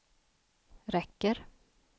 räcker